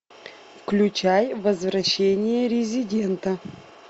включай возвращение резидента